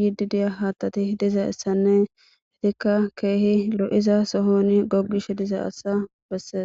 yiddii diya haattati dizayssanne eettikka keehi lo'idii gogishshe diza haththa besses